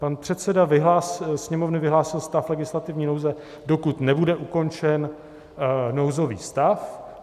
Pan předseda Sněmovny vyhlásil stav legislativní nouze, dokud nebude ukončen nouzový stav.